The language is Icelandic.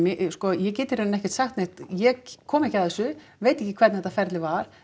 sko ég get í rauninni ekki sagt neitt ég kom ekki að þessu veit ekki hvernig þetta ferli var